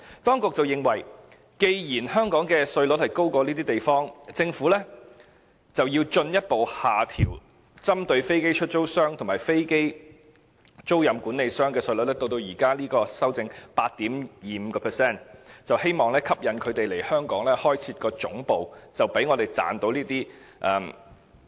當局認為，既然香港的稅率比這些地方高，政府便要進一步下調針對飛機出租商和飛機租賃管理商的稅率，至目前修正案提出的 8.25%， 希望吸引他們來港開設總部，以賺取稅收。